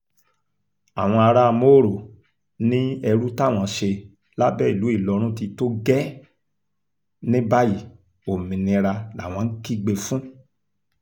àwọn ará mòró ní ẹrú táwọn ṣe lábẹ́ ìlú ìlọrin ti tó gẹ́ẹ́ ní báyìí òmìnira làwọn ń kígbe fún